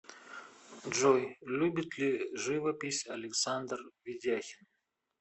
джой любит ли живопись александр ведяхин